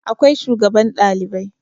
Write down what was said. Akwai shugaban Ɗalibai